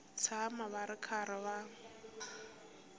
tshama va ri karhi va